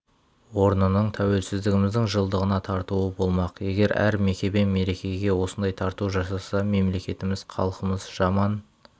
орнының тәуелсіздігіміздің жылдығына тартуы болмақ егер әр мекеме мерекеге осындай тарту жасаса мемлекетіміз халқымыз жаман